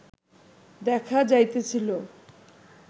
দেখা যাইতেছিল